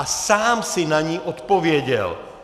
A sám si na ni odpověděl.